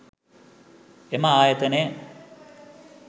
එම ආයතනය